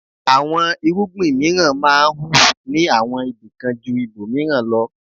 Àwọn irúgbìn mìíràn máa ń hù ní àwọn ibìkan jú ibòmìíràn lọ.